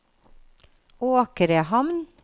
Åkrehamn